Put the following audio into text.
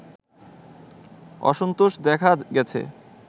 অসন্তোষ দেখা গেছে